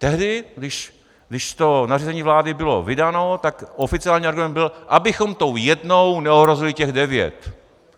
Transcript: Tehdy, když to nařízení vlády bylo vydáno, tak oficiálním argumentem bylo, abychom tou jednou neohrozili těch devět.